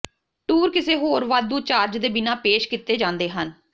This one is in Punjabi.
ਟੂਰ ਕਿਸੇ ਹੋਰ ਵਾਧੂ ਚਾਰਜ ਦੇ ਬਿਨਾਂ ਪੇਸ਼ ਕੀਤੇ ਜਾਂਦੇ ਹਨ